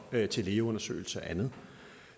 til lægeundersøgelse og andet